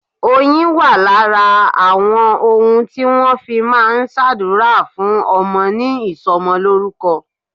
Oyin wà lára àwọn ohun tí wọn fi máa ń s'adura fún ọmọ ní ìsomolórúkọ.